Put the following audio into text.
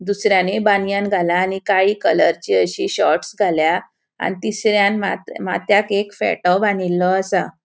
दुसर्यानि बनियान घाला आणि काळी कलरची अशी शॉर्ट्स घाल्या आणि तिसऱ्यान मात माथ्याक एक फेटों बानील्लो असा.